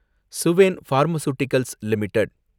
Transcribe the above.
Suven pharmaceuticals limited